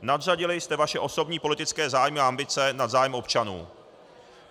Nadřadili jste vaše osobní politické zájmy a ambice nad zájem občanů.